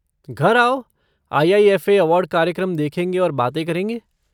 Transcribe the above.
घर आओ IIFA. Award कार्यक्रम देखेंगे और बातें करेंगे।